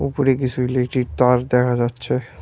উপরে কিসু ইলেকট্রিক তার দেখা যাচ্ছে।